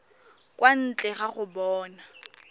kwa ntle ga go bona